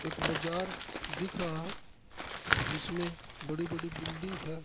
एक बजार दिख रहा है जिसमे बड़ी-बड़ी बिल्डिंग है।